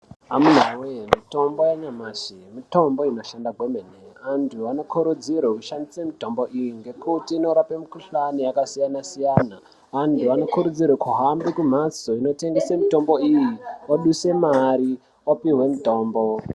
Amunawe mulitombo yanyamashi mitombo inoshanda kwemene antu anokurudzira kushandise mitombo iyi ngekuti inorape mikuhlani yakasiyana siyana. Antu anokurudzirwa ahambe kumhatso inotengese mitombo iyi oduse mari opuwe mutombo.